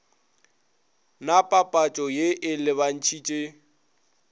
na papatšo ye e lebantšhitše